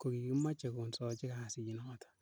kokimoche konsoji kasinoton.